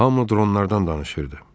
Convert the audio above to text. Hamı dronlardan danışırdı.